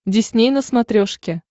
дисней на смотрешке